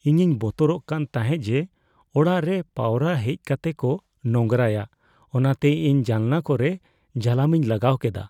ᱤᱧᱤᱧ ᱵᱚᱛᱚᱨᱚᱜ ᱠᱟᱱ ᱛᱟᱦᱮᱸᱜ ᱡᱮ ᱚᱲᱟᱜ ᱨᱮ ᱯᱟᱣᱨᱟ ᱦᱮᱡᱽ ᱠᱟᱛᱮᱜ ᱠᱚ ᱱᱳᱝᱨᱟᱭᱟ ᱚᱱᱟᱛᱮ ᱤᱧ ᱡᱟᱱᱞᱟ ᱠᱚᱨᱮ ᱡᱟᱞᱟᱢᱤᱧ ᱞᱟᱜᱟᱣ ᱠᱮᱫᱟ ᱾